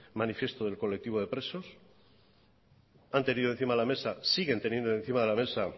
manifiesto del colectivo de presos han tenido encima de la mesa siguen teniendo encima de la mesa